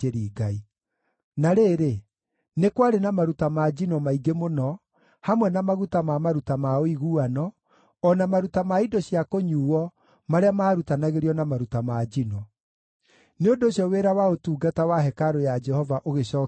Na rĩrĩ, nĩ kwarĩ na maruta ma njino maingĩ mũno, hamwe na maguta ma maruta ma ũiguano, o na maruta ma indo cia kũnyuuo marĩa maarutanagĩrio na maruta ma njino. Nĩ ũndũ ũcio wĩra wa ũtungata wa hekarũ ya Jehova ũgĩcookio rĩngĩ.